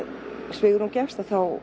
svigrúm gefst